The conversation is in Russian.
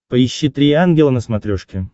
поищи три ангела на смотрешке